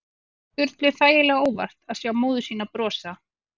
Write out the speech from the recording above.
Það kom Sturlu þægilega á óvart að sjá móður sína brosa.